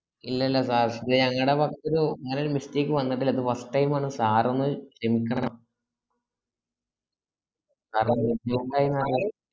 ഇല്ല ഇല്ല last day അങ്ങനെ വർക്കൊരു അങ്ങനെരു mistake വന്നിട്ടില്ല ഇത് first time ആണ് sir ഒന്ന് ക്ഷമികണം കാരണം group ൽ എന്തായീന്ന് അറീ